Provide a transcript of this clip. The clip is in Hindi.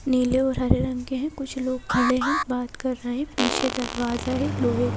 नीले और हरे रंग के हैं कुछ लोग खड़े हैं बात कर रहे हैं पीछे दरवाजा है लोहे--